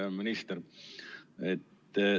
Hea minister!